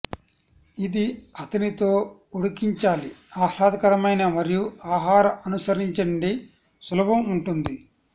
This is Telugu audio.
ఇది అతనితో ఉడికించాలి ఆహ్లాదకరమైన మరియు ఆహార అనుసరించండి సులభం ఉంటుంది